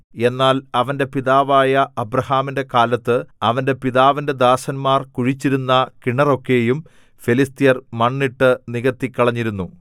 എന്നാൽ അവന്റെ പിതാവായ അബ്രാഹാമിന്റെ കാലത്ത് അവന്റെ പിതാവിന്റെ ദാസന്മാർ കുഴിച്ചിരുന്ന കിണറൊക്കെയും ഫെലിസ്ത്യർ മണ്ണിട്ടു നികത്തിക്കളഞ്ഞിരുന്നു